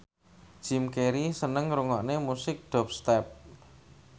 Jim Carey seneng ngrungokne musik dubstep